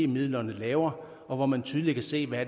midlerne laver og hvor man tydeligt kan se hvad